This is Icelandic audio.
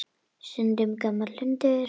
Stundum gamall hundur.